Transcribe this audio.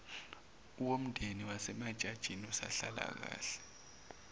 womndeni wasemajajini usonhlalakahle